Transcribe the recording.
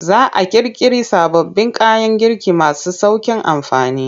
Za a ƙirƙiri sababbin kayan girki masu sauƙin amfani.